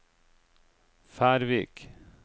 Færvik